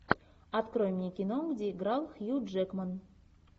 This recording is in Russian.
открой мне кино где играл хью джекман